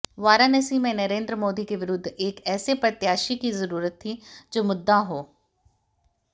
वाराणसी में नरेंद्र मोदी के विरुद्ध एक ऐसे प्रत्याशी की जरूरत थी जो मुद्दा हो